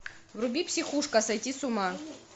вруби психушка сойти с ума